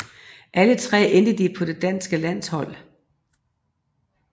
Alle tre endte de på det danske landshold